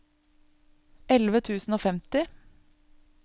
elleve tusen og femti